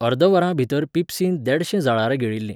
अर्द वरां भितर पिप्सीन देडशे जळारां गिळिल्लीं.